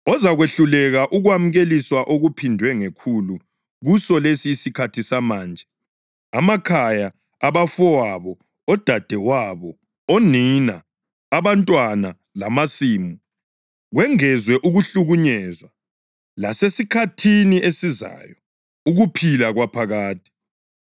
ozakwehluleka ukwamukeliswa okuphindwe ngekhulu kuso lesi isikhathi samanje: amakhaya, abafowabo, odadewabo, onina, abantwana lamasimu, kwengezwe ukuhlukunyezwa, lasesikhathini esizayo, ukuphila kwaphakade.